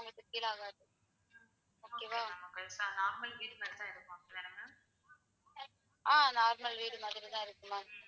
ஆஹ் normal வீடு மாறி தான் இருக்கும் ma'am.